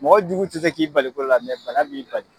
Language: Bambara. Mɔgɔ jugu tɛ se k'i bali ko la bana b'i bali.